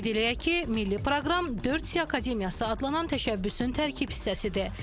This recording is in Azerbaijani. Qeyd eləyək ki, milli proqram 4C Akademiyası adlanan təşəbbüsün tərkib hissəsidir.